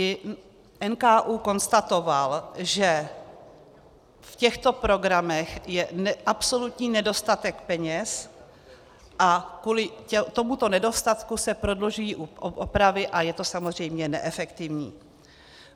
I NKÚ konstatoval, že v těchto programech je absolutní nedostatek peněz a kvůli tomuto nedostatku se prodlužují opravy a je to samozřejmě neefektivní.